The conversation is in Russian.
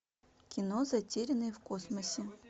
кино затерянные в космосе